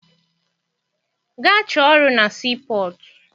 Gaa chọọ ọrụ na sii pọtụ!